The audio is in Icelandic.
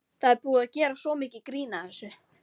Það er búið að gera svo mikið grín að þessu.